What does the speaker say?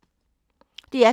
DR P3